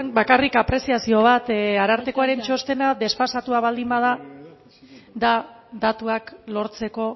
bakarrik apreziazio bat arartekoaren txostena desfasatua baldin bada da datuak lortzeko